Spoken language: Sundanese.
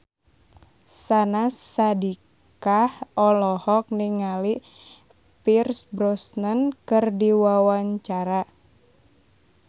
Syahnaz Sadiqah olohok ningali Pierce Brosnan keur diwawancara